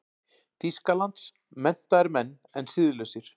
Þýskalands, menntaðir menn en siðlausir.